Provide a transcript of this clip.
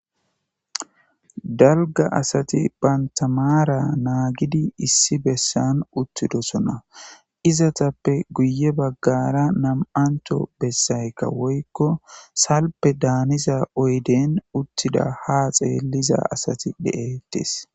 dalga asati banta maara naagidi issi bessan uttidosona izatappe guye baggara nam7anto bessaykka woykko salpe daaniza oyden uttida ha xeelliza asati de7etes